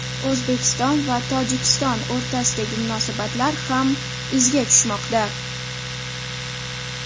O‘zbekiston va Tojikiston o‘rtasidagi munosabatlar ham izga tushmoqda.